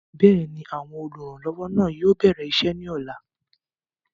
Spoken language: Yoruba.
bẹ́ẹ̀ni, àwọn olùrànlọwọ náà yóò bẹ̀rẹ̀ isẹ́ ní ọ̀la